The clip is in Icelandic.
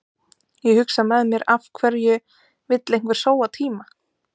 Ég hugsa með mér af hverju vill einhver sóa tíma?